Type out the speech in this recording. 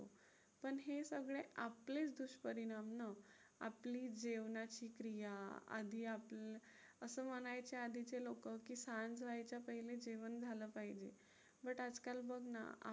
पण हे सगळे आपलेच दुष्परिणाम ना, आपली जेवणाची क्रिया आधी आपण असं म्हणायचे आधीचे लोकं की सांज व्हायच्या पहिले जेवण झालं पाहिजे. but आजकाल बघ ना,